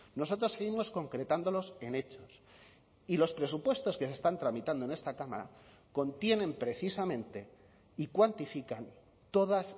nosotros seguimos concretándolos en hechos y los presupuestos que se están tramitando en esta cámara contienen precisamente y cuantifican todas